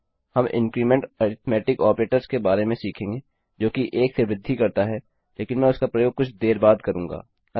हम इन्क्रीमेंट वृद्धिअरिथ्मेटिक ऑपरेटर के बारे में सीखेंगे जो कि 1 से वृद्धि करता है लेकिन मैं उसका प्रयोग कुछ देर बाद करूँगा